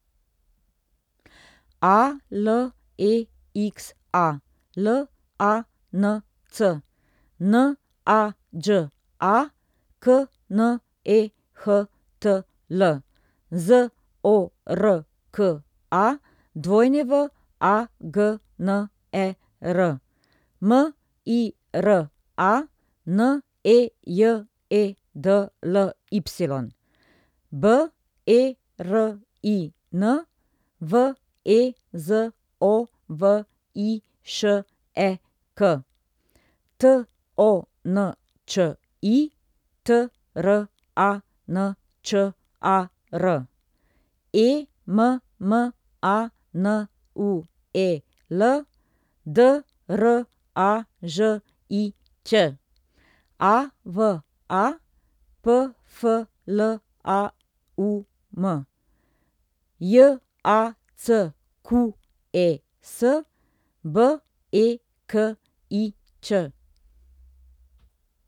A L E X A, L A N C; N A Đ A, K N E H T L; Z O R K A, W A G N E R; M I R A, N E J E D L Y; B E R I N, V E Z O V I Š E K; T O N Č I, T R A N Č A R; E M M A N U E L, D R A Ž I Ć; A V A, P F L A U M; J A C Q E S, B E K I Ć.